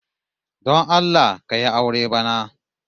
Don Allah ka yi aure bana